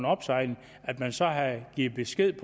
opsejling at man så havde givet besked